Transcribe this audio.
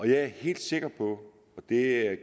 jeg er helt sikker på og det